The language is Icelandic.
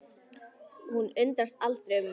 Hún undrast aldrei um mig.